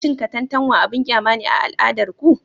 Cin katantanwa abin kyama ne a al'adar ku?